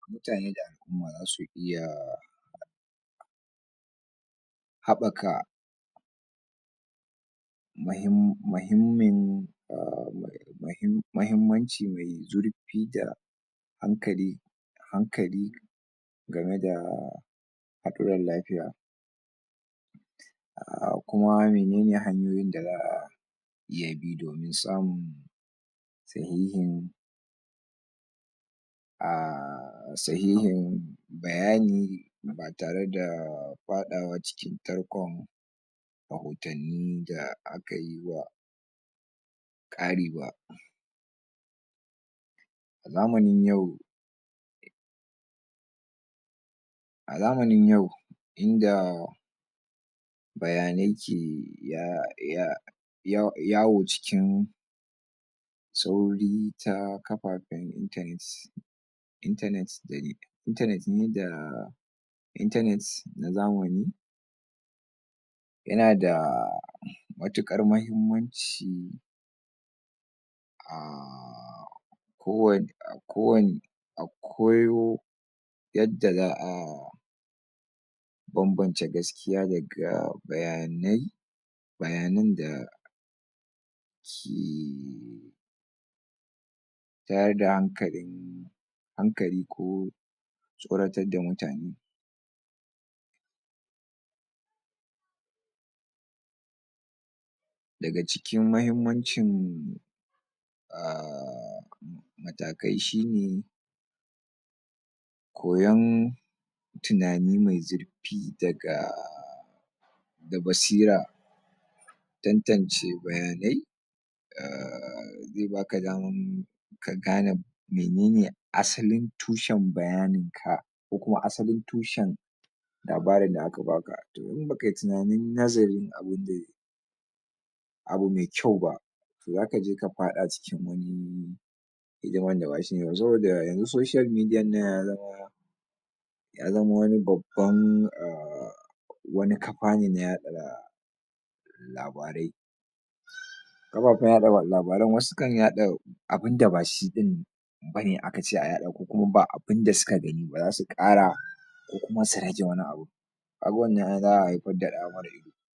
mutane da al'umma dasu iya haɓaka mahi um mahimmin mahimmanci mai zurfi da da hankali hankali gameda haɗuran lafiya um kuma menene hanyoyin da zaa iya bi domin samu sahihin um sahihin bayani tareda faɗawa cikin tarkon rahotanni da akayiwa kari ba a zamanin yau a zamanin yau inda bayanai ke ya ya ya yawo cikin sauri ta kafafaen internet internet da internet ne da internet na zamani yana daa matukar mahimmanci ko wa ko wani koyo yadda za'a banbance gaskiya daga bayanai bayanan da ke tada hankali hankali ko tsoratar da mutane daga cikin mahimmancin um matakai shine koyan tunani me zurfi daga da basira tantance bayanai ze baka daman ka gane menene asalin tushen bayanin ka ko kuma asalin tushen labarin da aka baka abu me kyau ba to zakaje ka faɗa cin hidiman da bashi ne ba, saboda yanzu social media ya zamo ya zama wani baban um wani kafa ne na yaɗa labarai kafafan yaɗa labaran wasu kan yaɗa abun da bashi bane bane aka ce a yaɗa, ko kuma ba abunda suka gani bara su kara ko kuma sane akeyin wannan abun kaga wanan da' a haifar da ɗa mara ido.